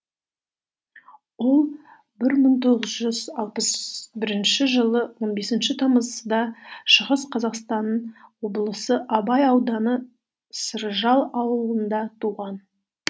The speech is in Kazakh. ол бір мың тоғыз жүз алпыс бірінші жылы он бесінші тамызда шығыс қазақстан облысы абай ауданы ауылында туған